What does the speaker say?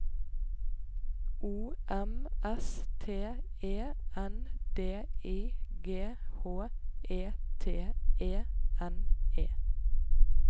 O M S T E N D I G H E T E N E